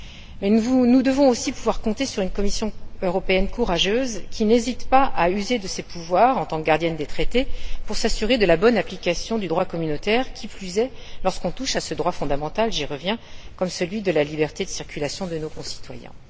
Mais nous devons aussi pouvoir compter sur une Commission européenne courageuse qui n'hésite pas à user de ses pouvoirs, en tant que gardienne des traités, pour s'assurer de la bonne application du droit communautaire, qui plus est lorsqu'on touche à ce droit fondamental j'y reviens qu'est la liberté de circulation de nos concitoyens.